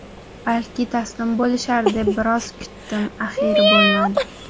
Balki taslim bo‘lishar deb biroz kutdim, axiyri bo‘lmadi.